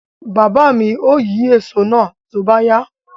Baba mi ó yín èso náà tó bá yá.